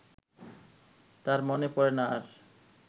তার মনে পড়ে না আর